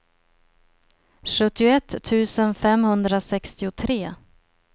sjuttioett tusen femhundrasextiotre